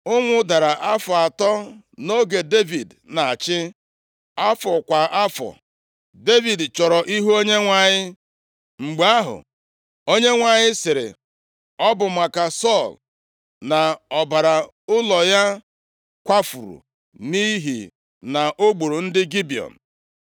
Ụnwụ dara afọ atọ nʼoge Devid na-achị, afọ kwa afọ. Devid chọrọ ihu Onyenwe anyị. Mgbe ahụ, Onyenwe anyị sịrị, “Ọ bụ maka Sọl na ọbara ụlọ ya kwafuru, nʼihi na o gburu ndị Gibiọn.”